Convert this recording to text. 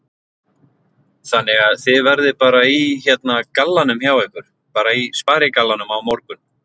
Þannig að þið verðið bara í hérna gallanum hjá ykkur, bara í sparigallanum á morgun?